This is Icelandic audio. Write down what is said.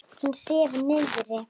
Hún sefur niðri.